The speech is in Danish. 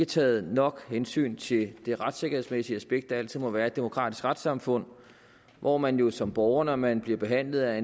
taget nok hensyn til det retssikkerhedsmæssige aspekt der altid må være i et demokratisk retssamfund hvor man jo som borger når man bliver behandlet af